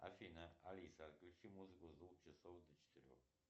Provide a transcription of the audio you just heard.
афина алиса включи музыку с двух часов до четырех